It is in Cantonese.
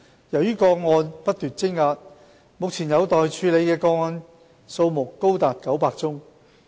由於個案不斷積壓，目前有待處理的個案多達900宗。